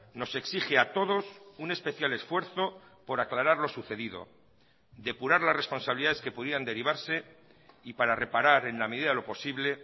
nos exige a todos un especial esfuerzo por aclarar lo sucedido depurar las responsabilidades que pudieran derivarse y para reparar en la medida de lo posible